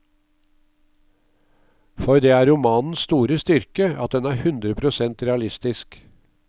For det er romanens store styrke at den er hundre prosent realistisk.